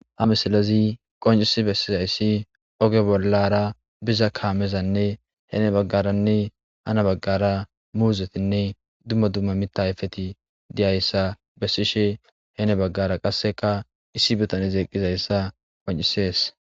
Ha misilazi qoncisi bessizayssi oge bollara biza kaamezanne hene baggaranne ana baggara muuzetinne dumma dumma mitayfeti diyayssa bessishe hene baggara qasseka issi bitane zeeqizayssa qoncisees.